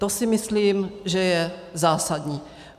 To si myslím, že je zásadní.